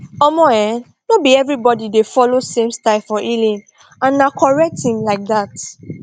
omo eh no be everybody dey follow same style for healing and na correct thing like dat